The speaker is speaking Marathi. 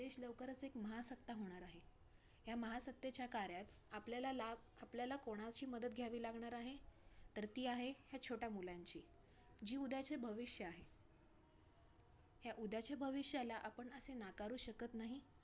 हा आणि customer तर खुप असतात junk food खायला आजकाल खूप जन जातात. म्हणून आजकाळ सगळीकडे street वरती पण आजकाळ junk food पण विकतात. वडापाव पण एक प्रकारचा junk ~